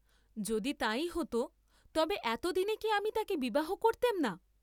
যদি তাই হত তবে এত দিন কি আমি তাকে বিবাহ করতেম না?